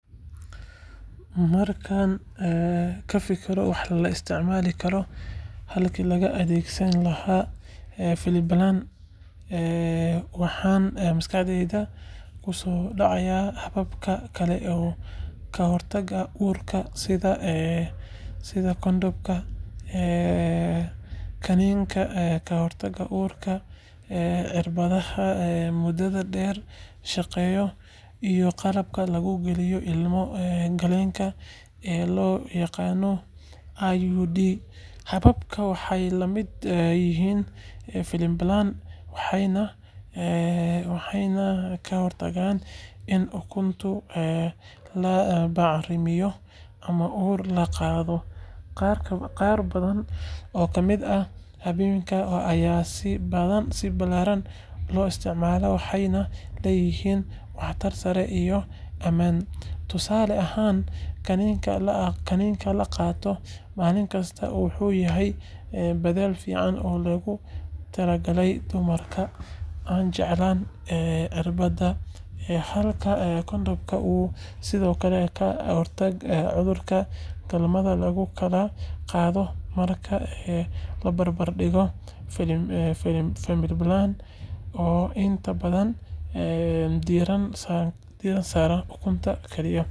Markaan ka fikiro wax la isticmaali karo halkii laga adeegsan lahaa Femiplan, waxaan maskaxdayda ku soo dhacaya hababka kale ee ka hortagga uurka sida kondhomka, kaniiniga ka hortagga uurka, cirbadaha muddada dheer shaqeeya, iyo qalabka lagu geliyo ilmo-galeenka ee loo yaqaan IUD. Hababkan waxay la mid yihiin Femiplan waxayna ka hortagaan in ukunta la bacrimiyo ama uur la qaado. Qaar badan oo ka mid ah hababkan ayaa si ballaaran loo isticmaalaa waxayna leeyihiin waxtar sare iyo ammaan. Tusaale ahaan, kaniiniga la qaato maalin kasta wuxuu yahay beddel fiican oo loogu talagalay dumarka aan jeclayn irbada, halka kondhomka uu sidoo kale ka hortago cudurada galmada lagu kala qaado marka la barbar dhigo Femiplan oo inta badan diiradda saara uurka kaliya. Sidoo kale, hababka dabiiciga ah ee xisaabinta maalmaha bacriminta waxay noqon karaan doorasho kale, inkastoo ay u baahan tahay feejignaan badan.